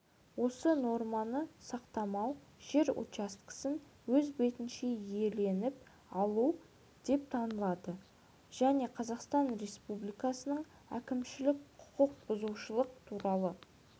осы норманы сақтамау жер учаскесін өз бетінше иеленіп алу деп танылады және қазақстан республикасының әкімшілік құқық бұзушылық туралы